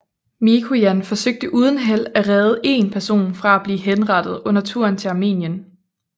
Mikojan forsøgte uden held at redde én person fra at bleve henrettet under turen til Armenien